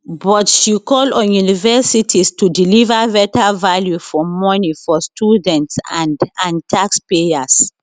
but she call on universities to deliver better value for money for students and and taxpayers